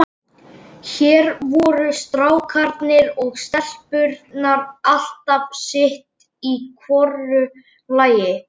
Við erum heilbrigð, þið eruð óheilbrigð.